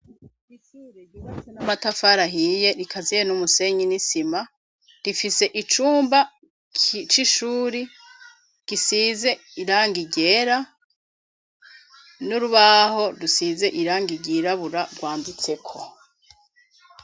Ishure ryubatse n'amatafari ahiye rikaziye n'umusenyi n'isima rifise icumba c'ishure gisize irangi ryera n'urubaho rusize irangi ry'irabura rwanditseko.